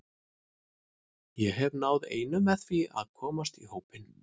Ég hef náð einu með því að komast í hópinn.